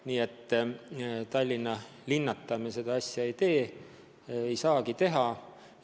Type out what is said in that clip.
Nii et Tallinna linnata me seda asja ei tee, ei saagi teha.